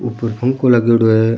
ऊपर पंखो लागेङो है।